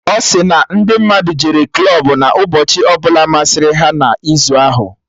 Ọ si na ndị mmadụ jere klọb na ụbọchị ọbụla masịrị ha na izu ahụ